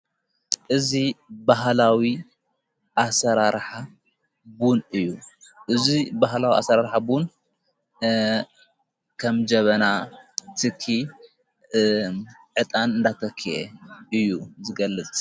እዙ ብህላዊ ኣሠራርን እዩ እዙይ ብህላዊ ኣሠራርሐ ቡን ኸም ጀበና ትኪ ዕጣን ዳተኪየ እዩ ዝገልጽ::